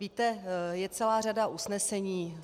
Víte, je celá řada usnesení.